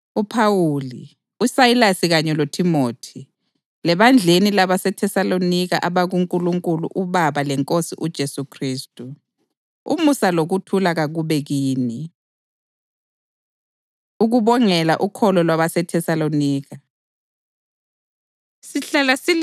UPhawuli, uSayilasi kanye loThimothi, Lebandleni labaseThesalonika abakuNkulunkulu uBaba leNkosini uJesu Khristu: Umusa lokuthula kakube kini. Ukubongela Ukholo LwabaseThesalonika